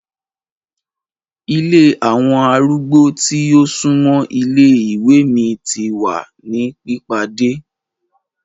Ìlé awọn arúgbó ti o sunmọ ìlé-iwe mi ti wa ni pipade